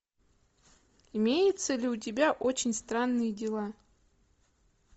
имеется ли у тебя очень странные дела